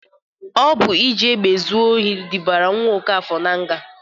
Ọ bụ iji egbe ezu ohi dubara nwa Ọkafọr nga.